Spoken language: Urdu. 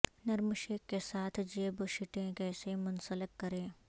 نرم شیک کے ساتھ جیب شیٹیں کیسے منسلک کریں